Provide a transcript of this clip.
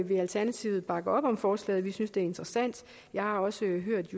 vil alternativet bakke op om forslaget vi synes det er interessant jeg har også hørt